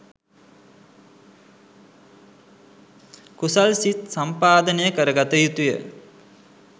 කුසල් සිත් සම්පාදනය කරගත යුතුය